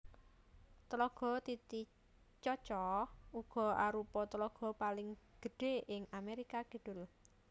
Tlaga Titicaca uga arupa tlaga paling gedhé ing Amérika Kidul